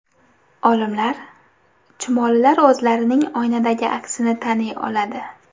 Olimlar: Chumolilar o‘zlarining oynadagi aksini taniy oladi.